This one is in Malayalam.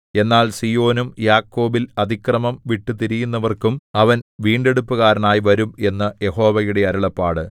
എന്നാൽ സീയോനും യാക്കോബിൽ അതിക്രമം വിട്ടുതിരിയുന്നവർക്കും അവൻ വീണ്ടെടുപ്പുകാരനായി വരും എന്നു യഹോവയുടെ അരുളപ്പാട്